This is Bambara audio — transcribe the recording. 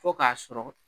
Fo k'a sɔrɔ